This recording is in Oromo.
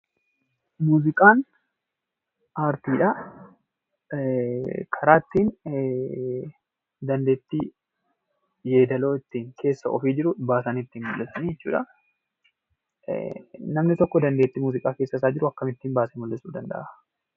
Muuziqaan aartiidha. Karaa ittiin dandeettii, yeedaloo keessa ofii jiru baasanii ittiin mul'dhisan jechuudha. Namni tokko dandeettii muuziqaa keessa isaa jiru akkamittiin baase mul'isuu danda'a?